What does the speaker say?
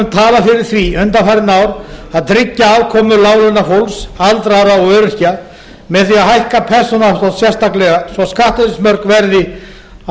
talað fyrir því undanfarin ár að tryggja afkomu láglaunafólks aldraðra og öryrkja með því að hækka persónuafslátt sérstaklega svo skattleysismörk verði að